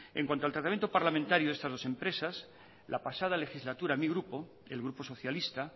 en cuanto al tratamiento parlamentario de estas dos empresas la pasada legislatura mi grupo el grupo socialista